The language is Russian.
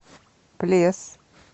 плес